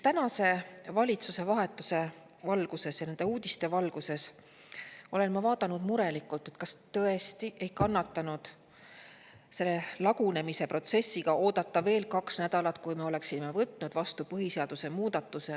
Tänase valitsuse vahetuse valguses ja nende uudiste valguses olen ma vaadanud murelikult, et kas tõesti ei kannatanud selle lagunemise protsessiga oodata veel kaks nädalat, kuni me oleksime võtnud vastu põhiseaduse muudatuse.